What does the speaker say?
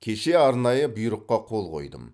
кеше арнайы бұйрыққа қол қойдым